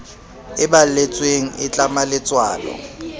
e balletsweng e tlama letswalo